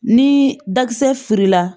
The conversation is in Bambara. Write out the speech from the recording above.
Ni dakisɛ furula